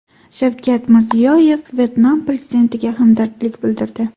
Shavkat Mirziyoyev Vyetnam prezidentiga hamdardlik bildirdi.